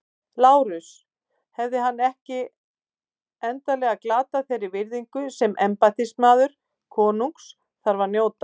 LÁRUS: Hefði hann ekki endanlega glatað þeirri virðingu sem embættismaður konungs þarf að njóta?